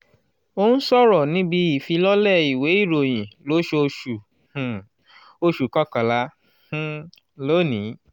ó ń sọ̀rọ̀ níbi ìfilọ́lẹ̀ ìwé ìròyìn lóṣooṣù um oṣù kọkànlá um lónìí.